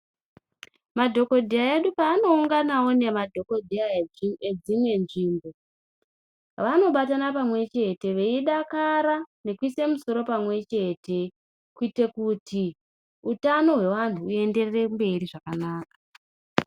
Madhokodheya edu paano unganawo ne madhokodheya edzimwe nzvimbo vanobatana pamwe chete veidakara nekuise musoro pamwe chete kuite kuti utano pamwe chete kuitire kuti utano hwe vantu hu enderere mberi zvakanaka.